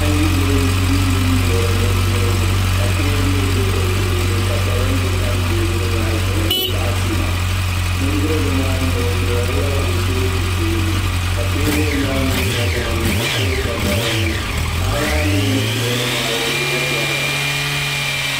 Paɣa n ʒi duu gbuni n duɣuri bindirigu ka teebuli ʒɛ o tooni ka parante tam teebuli maa zuɣu n ti pahi sua bindirigu maa mii o duɣurilila kuripooti puuni ka teebuli maa gba loŋni ka kuriga nima ʒɛ di puuni paɣa maa mii ni duɣuri maa o gbubila chɛriga